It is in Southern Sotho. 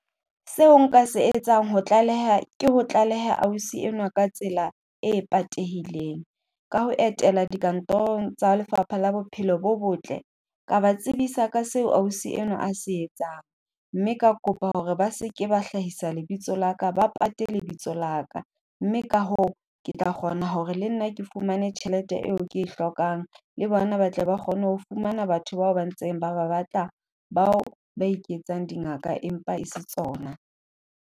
Seo nka se etsang ho tlaleha, ke ho tlaleha ausi enwa ka tsela e patehileng. Ka ho etela dikantorong tsa lefapha la bophelo bo botle, ka ba tsebisa ka seo ausi enwa a se etsang, mme ka kopa hore ba sebke ba hlahisa lebitso la ka, ba pate lebitso labka. Mme ka hoo, ke tla kgona hore le nna ke fumane tjhelete eo ke e hlokang, le bona ba tle ba kgone ho fumana batho bao ba ntseng ba ba batla bao ba iketsang dingaka empa e se tsona.